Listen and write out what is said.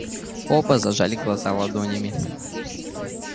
оба зажали глаза ладонями